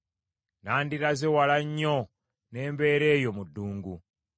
“Nandiraze wala nnyo, ne mbeera eyo mu ddungu;